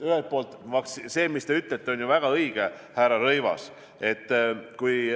Ühelt poolt on see, mis te ütlete, härra Rõivas, ju väga õige.